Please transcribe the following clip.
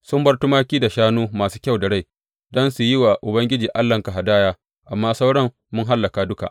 Sun bar tumaki da shanu masu kyau da rai don su yi wa Ubangiji Allahnka hadaya, amma sauran mun hallaka duka.